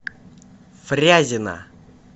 фрязино